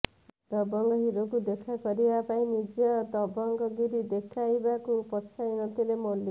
ଦବଙ୍ଗ ହିରୋଙ୍କୁ ଦେଖା କରିବା ପାଇଁ ନିଜ ଦବଙ୍ଗ ଗିରି ଦେଖାଇବାକୁ ପଛାଇ ନଥିଲେ ମୌଲିକ୍